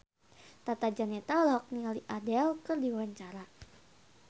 Tata Janeta olohok ningali Adele keur diwawancara